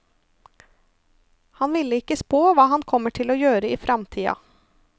Han vil ikke spå hva han kommer til å gjøre i framtida.